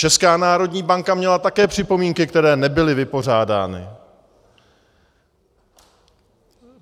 Česká národní banka měla také připomínky, které nebyly vypořádány.